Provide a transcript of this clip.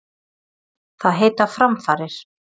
Það heita framfarir.